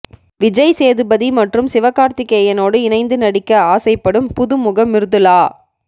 விஜய் சேதுபதி மற்றும் சிவகார்த்திக்கேயனோடு இணைந்து நடிக்க ஆசைப்படும் புதுமுகம் மிர்துளா